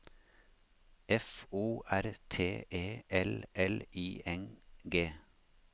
F O R T E L L I N G